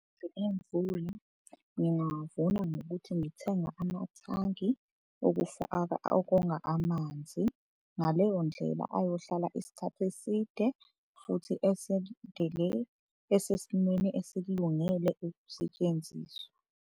Imvula ngingawavuna ngokuthi ngithenge amathangi okufaka, okonga amanzi. Ngaleyo ndlela ayohlala isikhathi eside futhi esesimweni esikulungele ukusetshenziswa.